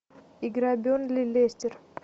игра бернли лестер